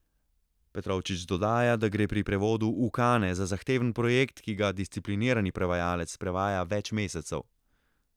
Petrovčič dodaja, da gre pri prevodu Ukane za zahteven projekt, ki ga disciplinirani prevajalec prevaja več mesecev.